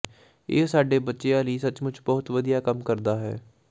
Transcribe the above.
ਇਹ ਸਾਡੇ ਬੱਚਿਆਂ ਲਈ ਸੱਚਮੁੱਚ ਬਹੁਤ ਵਧੀਆ ਕੰਮ ਕਰਦਾ ਹੈ